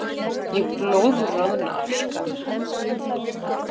Ég blóðroðna af skömm.